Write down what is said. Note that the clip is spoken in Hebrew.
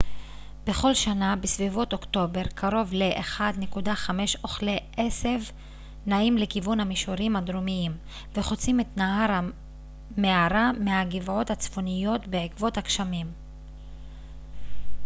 בכל שנה בסביבות אוקטובר קרוב ל-1.5 אוכלי עשב נעים לכיוון המישורים הדרומיים וחוצים את נהר המארה מהגבעות הצפוניות בעקבות הגשמים